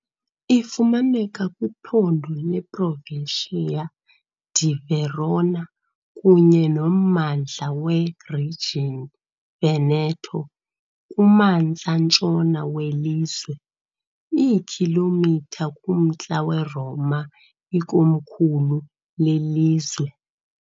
Ifumaneka kwiphondo leProvincia di Verona kunye nommandla weRegion Veneto, kumantla ntshona welizwe, iikhilomitha kumntla weRoma, ikomkhulu lelizwe.